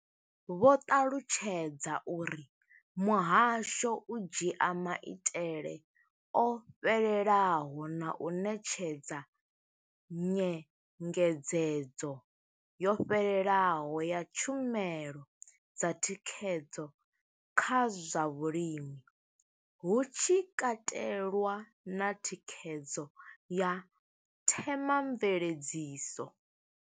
Vho ṱalutshedza uri muhasho u dzhia maitele o fhelelaho na u ṋetshedza nyengedzedzo yo fhelelaho ya tshumelo dza thikhedzo kha zwa vhulimi, hu tshi katelwa na thikhedzo ya themamveledziso.